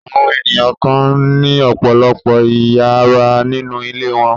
Àwọn ènìyàn kan ní ọ̀pọ̀lọpọ̀ ìyàrá nínú ilé wọn.